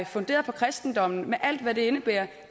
funderet på kristendommen med alt hvad det indebærer